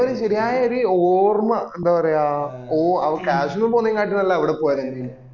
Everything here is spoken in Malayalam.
ശെരിയായ ഒരു ഓർമ എന്താ പറയാ ഓ അവ കശ്‍മീര് പൊണ്ണേന്കാട്ടും നല്ലെ അവിടെ പോയതായീനി